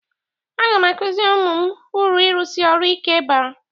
Aga m akụziri ụmụ m uru ịrụsi ọrụ ike bara.